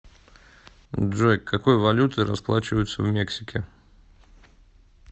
джой какой валютой расплачиваются в мексике